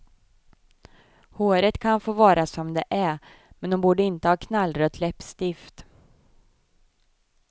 Håret kan få vara som det är, men hon borde inte ha knallrött läppstift.